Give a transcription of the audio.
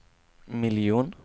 miljon